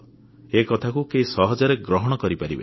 ଏ କଥାକୁ କେହି ସହଜରେ ଗ୍ରହଣ କରିପାରିବେନି